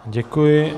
Děkuji.